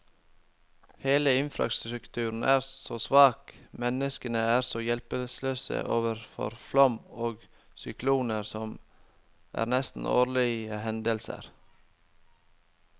Hele infrastrukturen er så svak, menneskene er så hjelpeløse overfor flom og sykloner, som er nesten årlige hendelser.